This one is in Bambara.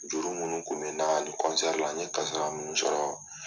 Juru munun kun bɛ n na ni la, n ye kasara munun sɔrɔ